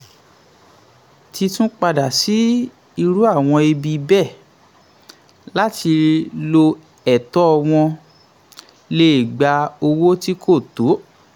títún padà sí irú àwọn ibi bẹ́ẹ̀ láti lo ẹ̀tọ́ wọn lè gba owó tí kò tó.